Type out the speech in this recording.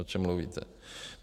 O čem mluvíte.